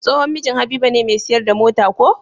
Tsohon mijin habiba ne me siyar da mota ko?